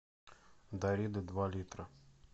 дарида два литра